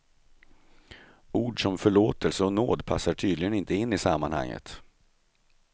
Ord som förlåtelse och nåd passar tydligen inte in i sammanhanget.